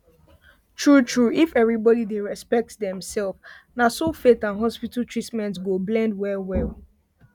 truetrue if everybody dey respect dem self na so faith and hospital treatment go blend well well